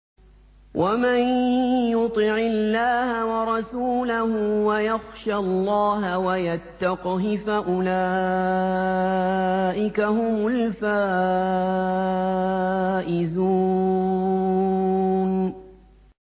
وَمَن يُطِعِ اللَّهَ وَرَسُولَهُ وَيَخْشَ اللَّهَ وَيَتَّقْهِ فَأُولَٰئِكَ هُمُ الْفَائِزُونَ